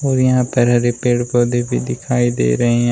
और यहां पर हरे पेड़ पौधे भी दिखाई दे रहे हैं।